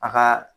A ka